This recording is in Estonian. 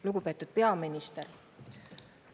Lugupeetud peaminister!